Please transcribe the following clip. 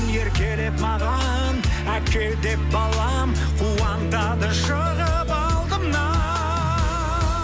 еркелеп маған әке деп балам қуантады шығып алдымнан